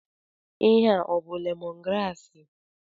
Ihe a abụ lemon graasị?